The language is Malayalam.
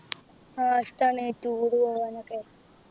ആ ഇഷ്ട്ടാണ് Tour പോവാനൊക്കെ